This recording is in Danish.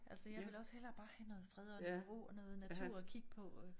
Altså jge vil også hellere have noget fred og ro og noget natur at kigge på og